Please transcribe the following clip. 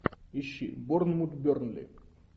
ищи борнмут бернли